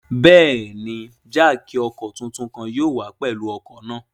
Bẹẹni, jáákí ọkọ titun kan yóò wa pẹlu ọkọ naa